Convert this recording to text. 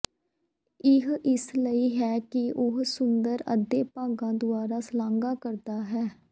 ਇਹ ਇਸ ਲਈ ਹੈ ਕਿ ਉਹ ਸੁੰਦਰ ਅੱਧੇ ਭਾਗਾਂ ਦੁਆਰਾ ਸ਼ਲਾਘਾ ਕਰਦਾ ਹੈ